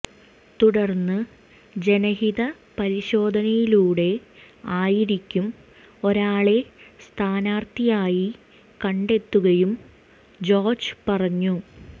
തുടര്ന്ന് ജനഹിത പരിശോധനയിലൂടെ ആയിരിക്കും ഒരാളെ സ്ഥാനാര്ത്ഥിയായി കണ്ടെത്തുകയെന്നും ജോര്ജ് പറഞ്ഞു